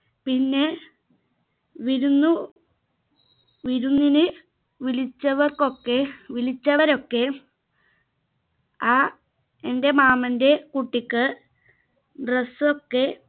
പിന്നെ വിരുന്നു വിരുന്നിന് വിളിച്ചവർക്കൊക്കെ വിളിച്ചവരൊക്കെ ആ എന്റെ മാമന്റെ കുട്ടിക്ക് dress ഒക്കെ